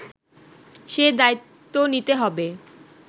সে দায়িত্ব নিতে হবে